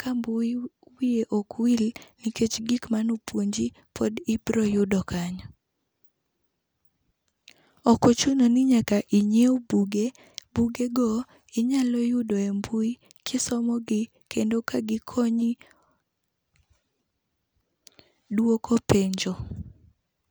ka mbui wiye ok wil nikech gik manopuonji pod ibiro yudo kanyo. Ok ochuno ni nyaka inyiew buge, bugego inyalo yudo emb ui, kisomogi kendo ka gikonyi duoko penjo.